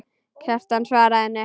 Kjartan svaraði henni ekki.